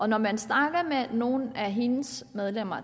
når man snakker med nogle af hendes medlemmer